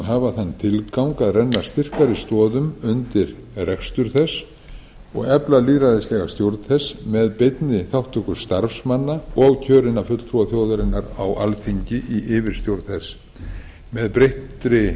hafa þann tilgang að renna styrkari stoðum undir rekstur þess og efla lýðræðislega stjórn þess með beinni þátttöku starfsmanna og kjörinna fulltrúa þjóðarinnar á alþingi í yfirstjórn þess með breyttri